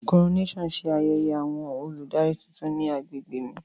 Coronation ṣe ayẹyẹ awọn oludari titun ni agbegbe mi.